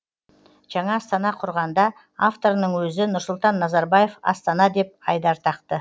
жаңа астана құрғанда авторының өзі нұрсұлтан назарбаев астана деп айдар тақты